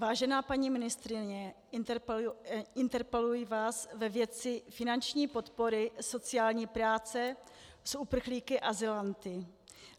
Vážená paní ministryně, interpeluji vás ve věci finanční podpory sociální práce s uprchlíky, azylanty.